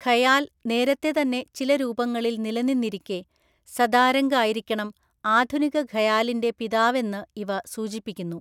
ഖയാൽ നേരത്തെതന്നെ ചില രൂപങ്ങളിൽ നിലനിന്നിരിക്കെ, സദാരംഗ് ആയിരിക്കണം ആധുനികഖയാലിൻ്റെ പിതാവെന്ന് ഇവ സൂചിപ്പിക്കുന്നു.